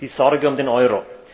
die Sorge um den Euro.